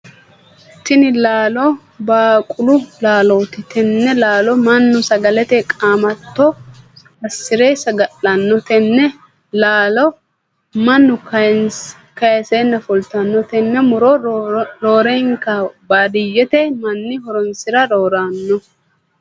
Tinni laallo baaqulu laallooti. Tenne laallo Manu sagalete qaamatto asire saga'lano. Tenne laallo mannu kaaseenna fultano. Tenne muro roorenka baadiyete manni horoonsira roorano.